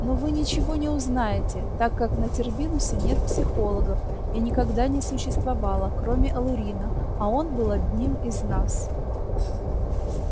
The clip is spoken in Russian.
но вы ничего не узнаете так как на тербинусе нет психологов и никогда не существовало кроме алурина а он был одним из нас